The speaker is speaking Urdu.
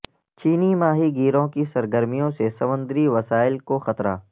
چینی ماہی گیروں کی سرگرمیوں سے سمندری وسائل کو خطرہ